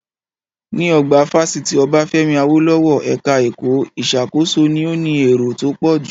Ní, ọgbà fásitì Obafemi Awolowo, ẹka ẹ̀kọ́ ìṣàkóso ni ó ní èrò tó pọ̀jù.